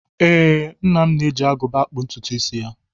Ee, nna m na-eji agụba akpụ ntụtụisi ya